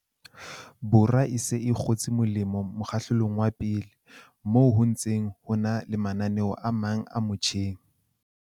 Borwa e se e kgotse molemo mokgahlelong wa pele, moo ho ntseng ho na le mananeo a mang a mo tjheng.